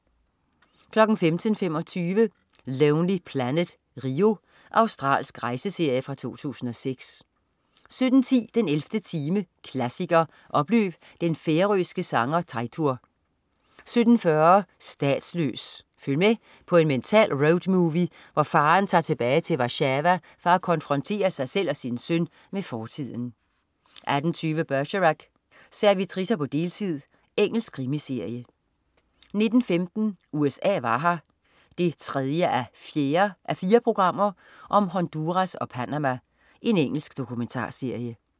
15.25 Lonely Planet: Rio. Australsk rejseserie fra 2006 17.10 den 11. time, klassiker. Oplev den færørske sanger Teitur 17.40 Statsløs. Følg med på en mental roadmovie, hvor faderen tager tilbage til Warszawa for at konfrontere sig selv og sin søn med fortiden 18.20 Bergerac: Servitricer på deltid. Engelsk krimiserie 19.15 USA var her 3:4. Honduras og Panama. Engelsk dokumentarserie